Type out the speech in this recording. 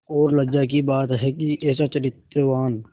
और लज्जा की बात है कि ऐसा चरित्रवान